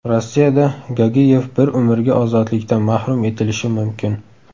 Rossiyada Gagiyev bir umrga ozodlikdan mahrum etilishi mumkin.